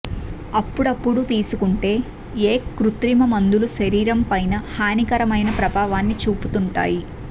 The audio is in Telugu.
అప్పుడప్పుడూ తీసుకుంటే ఏ కృత్రిమ మందులు శరీరం పైన హానికరమైన ప్రభావాన్ని చూపుతుంటాయి